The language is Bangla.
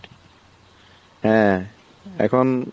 হ্যাঁ এখন